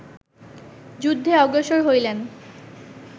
যুদ্ধে অগ্রসর হইলেন